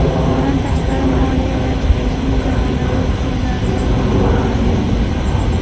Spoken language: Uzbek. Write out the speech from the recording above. Bundan tashqari, moliyalashtirishning zamonaviy usullaridan ham foydalanish mumkin.